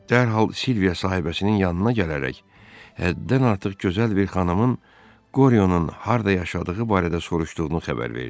Dərhal Silviya sahibəsinin yanına gələrək həddən artıq gözəl bir xanımın Qoryonun harda yaşadığı barədə soruşduğunu xəbər verdi.